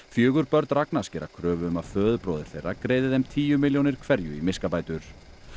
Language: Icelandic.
fjögur börn Ragnars gera kröfu um að föðurbróðir þeirra greiði þeim tíu milljónir hverju í miskabætur